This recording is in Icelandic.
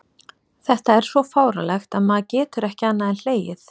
Þetta er svo fáránlegt að maður getur ekki annað en hlegið.